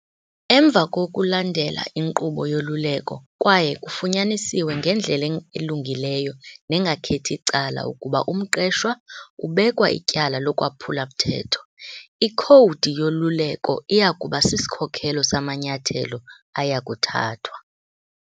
Emva kokulandela inkqubo yoluleko kwaye kufunyaniswe ngendlela elungileyo nengakhethi cala ukuba umqeshwa ubekwa ityala lokwaphula mthetho, ikhowudi yoluleko iya kuba sisikhokelo samanyathelo aya kuthathwa.